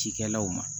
Cikɛlaw ma